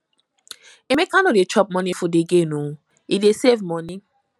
emeka no dey chop morning food again oo he dey save money